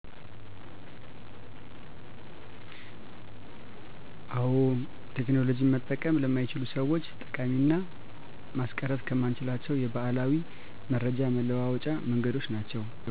አዎ ቴክኖሎጂ መጠቀም ለማይችሉ ሰዎች ጠቃሚና ማስቀረትከማንችላቸው የበዓላዊ መረጃ መለዋወጫ መንገዶች ናቸው